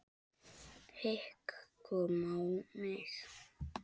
Hik kom á mig.